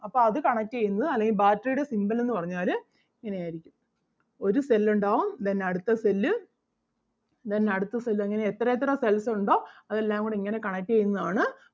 അപ്പം അത് connect ചെയ്യുന്നത് അല്ലെങ്കിൽ battery ടെ symbol എന്ന് പറഞ്ഞാല് ഇങ്ങനെ ആരിക്കും. ഒരു cell ഒണ്ടാവും then അടുത്ത cell അഹ് then അടുത്ത cell അങ്ങനെ എത്ര എത്ര cells ഒണ്ടോ അതെല്ലാം കൂടെ ഇങ്ങനെ connect ചെയ്യുന്നത് ആണ്.